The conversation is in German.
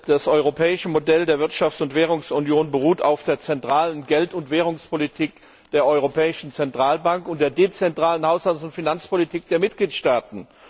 Das europäische Modell der Wirtschafts und Währungsunion beruht auf der zentralen Geld und Währungspolitik der Europäischen Zentralbank und der dezentralen Haushalts und Finanzpolitik der Mitgliedstaaten.